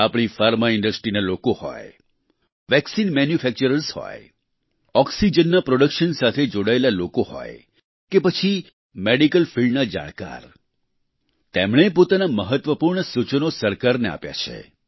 આપણી ફાર્મા ઈન્ડસ્ટ્રીના લોકો હોય વેક્સિન મેન્યુફેક્ચરર્સ હોય ઓક્સિજનના પ્રોડક્શન સાથે જોડાયેલા લોકો હોય કે પછી મેડિકલ ફિલ્ડના જાણકાર તેમણે પોતાના મહત્વપૂર્ણ સૂચનો સરકારને આપ્યા છે